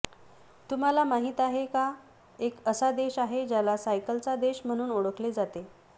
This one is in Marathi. तुम्हाला माहीत आहे का एक असा देश आहे ज्याला सायकलचा देश म्हणून ओळखले जाते